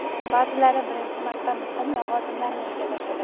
ba’zilari birinchi marta muhim lavozimlarni egallashadi.